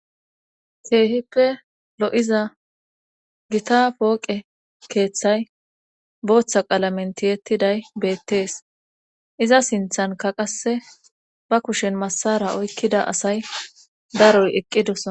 Keehippe lo'iza gita pooqe keeththay booththa qalamentiyettiday beettees iza sinthanka qasse ba kushen massara oykkida asay daroy eqqidosana.